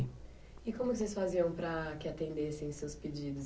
E como vocês faziam para que atendessem os seus pedidos